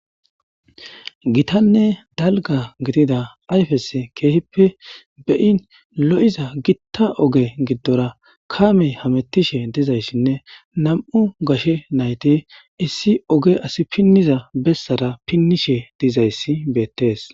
Gittanee dalgga giididi ayffes kehippe bei'in lo'iiza giitta ogge giidora kaamey hammetishe diizayssinne nam'u gashshe naytti issi ogge assi piiniza bessara pinnishe dettes.